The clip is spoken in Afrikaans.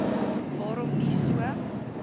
waarom nie so